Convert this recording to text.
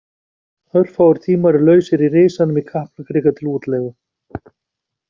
Örfáir tímar eru lausir í Risanum í Kaplakrika til útleigu.